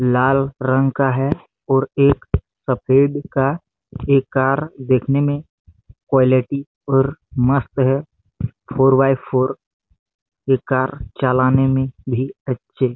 लाल रंग का है और एक सफेद का ये कार देखने में कुँलिटी और मस्त है फोर बाय फोर यह कार चलाने में भी अच्छे--